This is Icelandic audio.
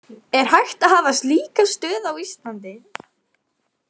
Er hægt að hafa slíka stöð á Íslandi?